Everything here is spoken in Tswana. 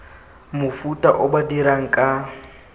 mofuta o ba dirang ka